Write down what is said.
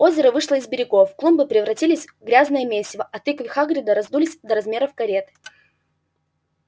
озеро вышло из берегов клумбы превратились в грязное месиво а тыквы хагрида раздулись до размеров карет